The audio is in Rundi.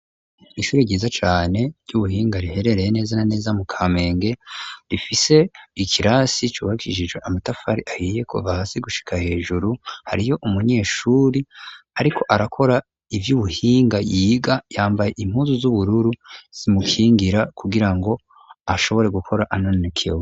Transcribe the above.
Ishure ryiza cane ry'ubuhinga, riherereye neza na neza mu Kamenge; rifise ikirasi cubakishijwe amatafari ahiye kuva hasi gushika hejuru, hariyo umunyeshuri ariko arakora ivy'ubuhinga yiga, yambaye impuzu z'ubururu zimukingira, kugira ngo ashobore gukora anonokewe.